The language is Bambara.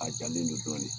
A jalen don dɔɔni